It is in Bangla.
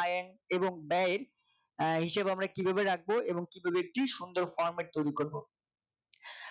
আয় এর এবং ব্যয় এর আহ হিসাব আমরা কিভাবে রাখব এবং কি করে কি সুন্দর Format তৈরি করব